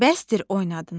Bəsdir oynadınız.